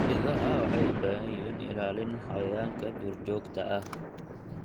Idaha waxay u baahan yihiin ilaalin xayawaanka duurjoogta ah.